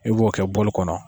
I b'o kɛ kɔnɔ.